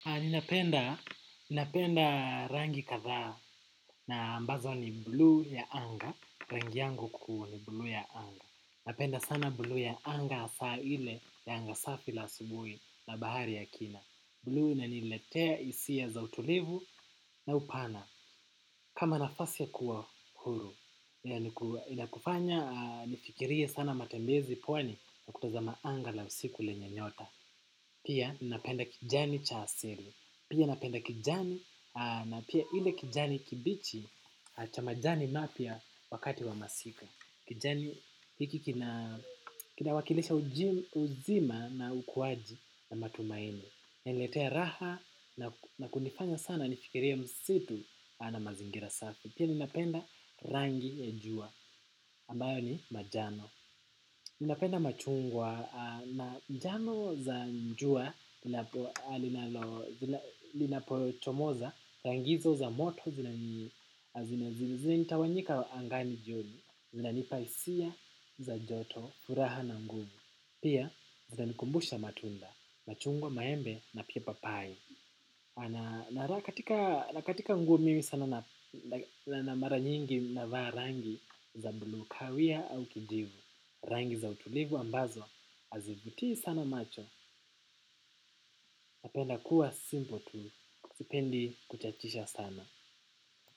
Napenda rangi kadha na ambazo ni buluu ya anga. Rangi yangu kuu ni buluu ya anga. Napenda sana buluu ya anga asa ile anga safi la asubuhi na bahari ya kina. Buluu inaniletea isia za utulivu na upana. Kama nafasi ya kuwa huru. Inakufanya nifikirie sana matembezi pwani na kutazama anga la usiku lenye nyota. Pia napenda kijani cha asiri. Pia napenda kijani na pia ile kijani kibichi cha majani mapya wakati wa masika. Kijani hiki kinawakilisha uzima na ukuwaji na matumaini. Inaniletea raha na kunifanya sana nifikirie msitu na mazingira safi. Pia ninapenda rangi ya jua ambayo ni majano. Ninapenda machungwa na njano za njua, linapochomoza, rang hizo za moto, zinaitawanyika angani jioni, zinanipa isia, za joto, furaha na nguvu, pia zinanikumbusha matunda, machungwa maembe na pia papai. Na katika nguo mimi sana mara nyingi navaa rangi za buluu kawia au kijivu, rangi za utulivu ambazo azivutii sana macho napenda kuwa simpo tu sipendi kuchachisha sana.